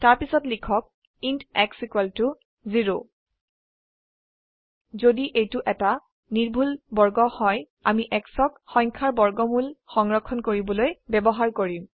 তাৰপিছত লিখক int x 0 যদি এইটো এটা নিৰ্ভুল বৰ্গ হয় আমি x ক সংখ্যাৰ বৰ্গমূল সংৰক্ষণ কৰিবলৈব্যবহাৰ কৰিম